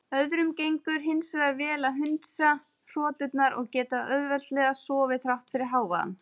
Öðrum gengur hins vegar vel að hundsa hroturnar og geta auðveldlega sofið þrátt fyrir hávaðann.